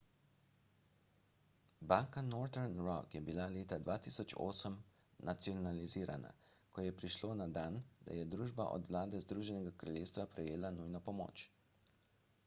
banka northern rock je bila leta 2008 nacionalizirala ko je prišlo na dan da je družba od vlade združenega kraljestva prejela nujno pomoč